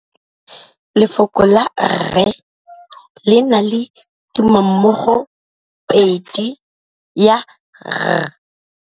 Lefoko la rre, le na le tumammogôpedi ya, r.